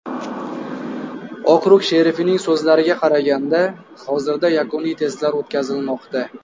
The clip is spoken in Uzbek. Okrug sherifining so‘zlariga qaraganda, hozirda yakuniy testlar o‘tkazilmoqda.